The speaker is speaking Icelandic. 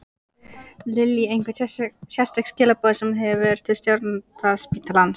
Lillý: Einhver sérstök skilaboð sem þú hefur til stjórnenda spítalans?